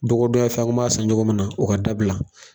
Dɔgɔ donya fɛn a kun m'a san ɲɔgɔn min na o ka dabila